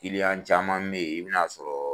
Kiliyan caman bɛ yen i bɛna sɔrɔ